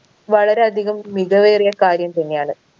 വളരെയധികം മികവേറിയ കാര്യം തന്നെയാണ്